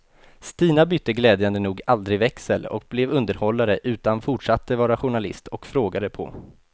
Stina bytte glädjande nog aldrig växel och blev underhållare utan fortsatte vara journalist och frågade på.